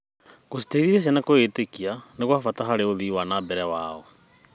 Gũciteithia ciana kwĩĩtĩkia nĩ gwa bata harĩ ũthii wa na mbere wao.